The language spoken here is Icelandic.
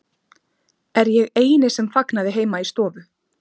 Er ég eini sem fagnaði heima í stofu?